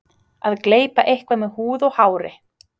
Að gleypa eitthvað með húð og hári